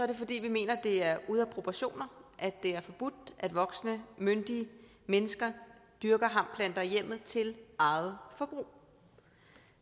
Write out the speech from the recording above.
det fordi vi mener det er ude af proportioner at det er forbudt at voksne myndige mennesker dyrker hampplanter i hjemmet til eget forbrug